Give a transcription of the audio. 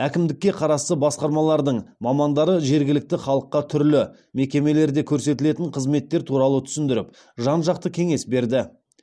әкімдікке қарасты басқармалардың мамандары жергілікті халыққа түрлі мекемелерде көрсетілетін қызметтер туралы түсіндіріп жан жақты кеңес берді